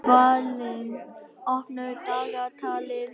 Dvalinn, opnaðu dagatalið mitt.